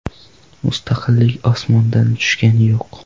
Mustaqillik osmondan tushgani yo‘q.